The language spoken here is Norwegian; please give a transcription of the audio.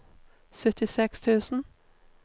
syttiseks tusen